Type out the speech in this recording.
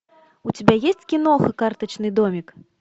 у тебя есть киноха карточный домик